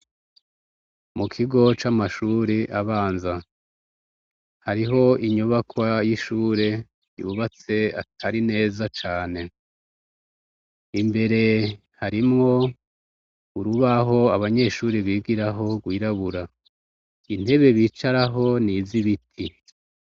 Mu kigo c'amashure abanza. Hariho inyubakwa y'ishure yubatse atari neza cane. Imbere harimwo urubaho abanyeshuri bigiraho rwirabura. Intebe bicaraho ni iz'ibiti.